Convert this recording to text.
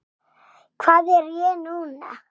Hvað er ég núna?